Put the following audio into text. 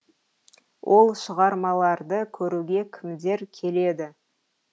ол шығармаларды көруге кімдер келеді